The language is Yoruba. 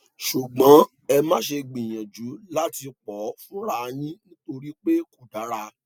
ṣùgbọn ẹ má ṣe gbìyànjú láti pọ fúnra yín nítorí pé kò dára